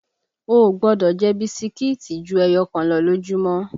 O ò gbọ́dọ̀ jẹ bisikíìtì ju ẹyọ kan lọ lójúmọ́!